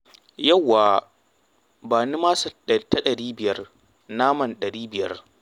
Yawwa! Ba ni masa ta ɗari biyar, naman ɗari biyar.